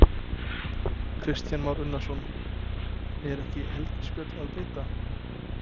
Kristján Már Unnarsson: Er ekki helgispjöll að beita?